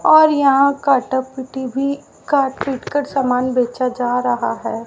और यहां काटा पुटी भी काट पीट कर सामान बेचा जा रहा है।